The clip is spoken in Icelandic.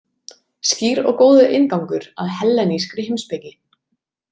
Skýr og góður inngangur að hellenískri heimspeki.